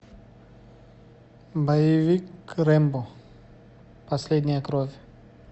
боевик рэмбо последняя кровь